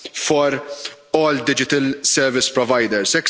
for all digital service providers